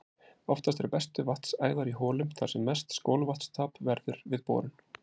Oftast eru bestu vatnsæðar í holum þar sem mest skolvatnstap verður við borun.